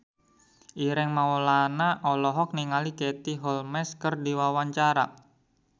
Ireng Maulana olohok ningali Katie Holmes keur diwawancara